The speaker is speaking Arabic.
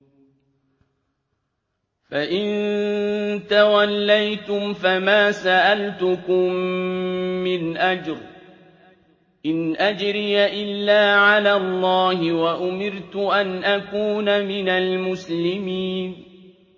فَإِن تَوَلَّيْتُمْ فَمَا سَأَلْتُكُم مِّنْ أَجْرٍ ۖ إِنْ أَجْرِيَ إِلَّا عَلَى اللَّهِ ۖ وَأُمِرْتُ أَنْ أَكُونَ مِنَ الْمُسْلِمِينَ